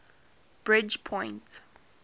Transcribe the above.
bridgepoint